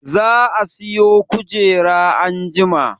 Za a siyo kujera anjima